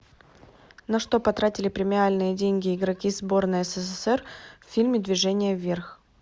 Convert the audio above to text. на что потратили премиальные деньги игроки сборной ссср в фильме движение вверх